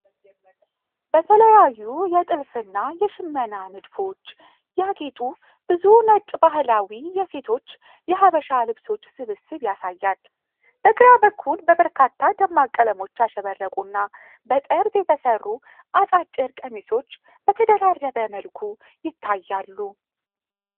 በተለያዩ የጥልፍ እና የሽመና ንድፎች ያጌጡ ብዙ ነጭ ባህላዊ የሴቶች የሐበሻ ልብሶች ስብስብ ያሳያል። በግራ በኩል በበርካታ ደማቅ ቀለሞች ያሸበረቁ እና በጠርዝ የተሠሩ አጫጭር ቀሚሶች በተደራረበ መልኩ ይታያሉ።